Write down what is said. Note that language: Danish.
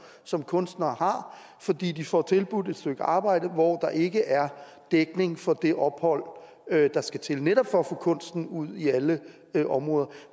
som kunstnere har fordi de får tilbudt et stykke arbejde hvor der ikke er dækning for det ophold der skal til netop for at få kunsten ud i alle områder